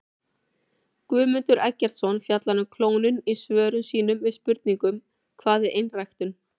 Guðmundur Eggertsson fjallar um klónun í svörum sínum við spurningunum Hvað er einræktun?